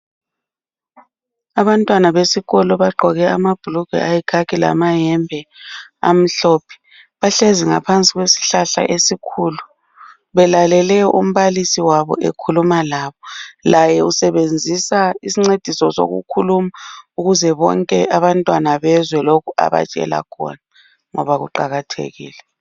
Abantwana besikolo bagqoke amabhulugwe ayikhakhi lamayembe amhlophe bahlezi ngaphansi kwesihlahla esikhulu belalele umbalisi wabo ekhuluma labo laye usebenzisa isincediso sokukhuluma ukuze abantwana bonke bezwe lokhu obatshela khona ngoba kuqakathekile.